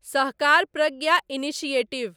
Sahakar Pragya initiative